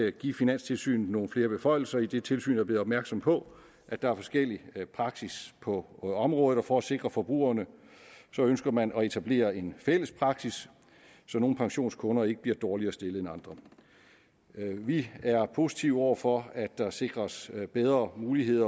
at give finanstilsynet nogle flere beføjelser idet tilsynet er blevet opmærksom på at der er forskellig praksis på området og for at sikre forbrugerne ønsker man at etablere en fælles praksis så nogle pensionskunder ikke bliver dårligere stillet end andre vi er positive over for at der sikres bedre mulighed